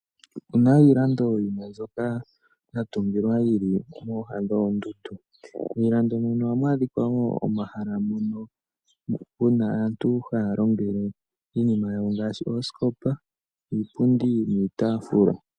Opena iilando yimwe mboka yatungwa yili moha dhondundu , moondundu mono ohamu adhika wo omahala moka aantu haya longele iinima yawo ngaashi osikopa, iipundi niitafula.